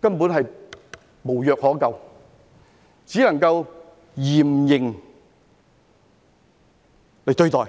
根本無藥可救，只能夠嚴刑對待。